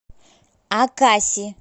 акаси